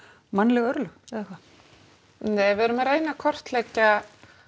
mannleg örlög eða hvað nei við erum að reyna að kortleggja